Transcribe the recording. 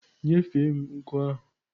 Nyefee m nku ahụ!